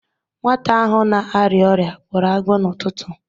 Nwata ahụ na-arịa ọrịa gbọrọ agbọ n'ụtụtụ.